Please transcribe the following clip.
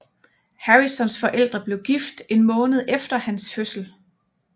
Harrisons forældre blev gift en måned efter hans fødsel